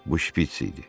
Bu şpiç idi.